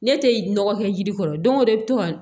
Ne tɛ nɔgɔ kɛ yiri kɔrɔ don o don i bɛ to ka